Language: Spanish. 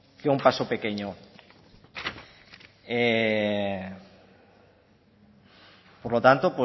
que un paso pequeño por lo tanto